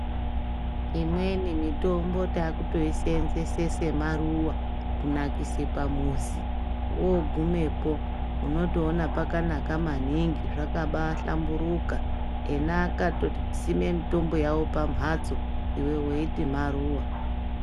Imweni mitombo takutoisenzese semaruwa kunakise pamuzi wogumepo unotoona pakanaka maningi zvakaba hlamburuka ena akatosime mitombo yavo pambatso iwe weiti maruwa.